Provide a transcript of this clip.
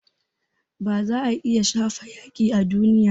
Ba za a iya shafe yaƙi a duniya ba